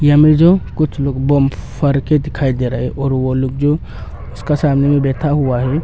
यहां में जो कुछ लोग बम फोर के दिखाई दे रहा है और वो लोग जो उसका सामने में बैठा हुआ है।